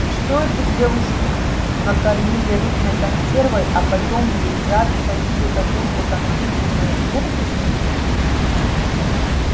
и что эту девушку накормили рыбной консервой а потом ей в зад всадили какую-то компьютерную мерзость